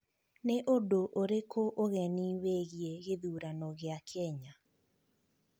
Nĩ ũndũ ũrĩkũ ũgeni wĩgiĩ gĩthurano gĩa Kenya?